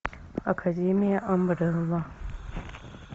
академия амбрелла